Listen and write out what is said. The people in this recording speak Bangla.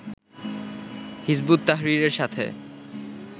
হিযবুত তাহরীরের সাথে